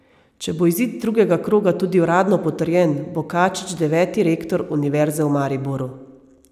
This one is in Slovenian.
Če bo izid drugega kroga tudi uradno potrjen, bo Kačič deveti rektor Univerze v Mariboru.